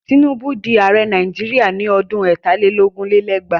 Tinubu di ààrẹ Nàìjíríà ní oṣù ọdún ẹ̀tà lé lógún lé lẹ́gbàá.